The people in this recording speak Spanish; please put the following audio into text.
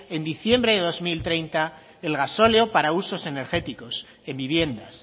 en diciembre dos mil treinta el gasóleo para usos energéticos en viviendas